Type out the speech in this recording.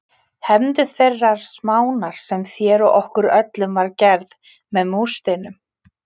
Hefndu þeirrar smánar sem þér og okkur öllum var gerð með múrsteininum.